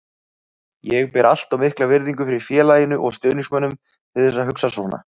Ég ber allt of mikla virðingu fyrir félaginu og stuðningsmönnunum til að hugsa svona.